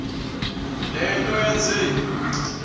le nto yenze